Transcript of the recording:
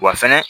Wa fɛnɛ